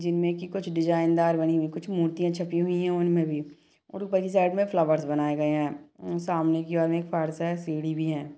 जिनमें की कुछ डिज़ाइन दार बनी हुई कुछ मूर्तियां छपी हुई है उनमें भी और ऊपर की साइड मे फ्लावर्स बनाए गए है सामने की ओर में एक फर्श है सीढ़ी भी है।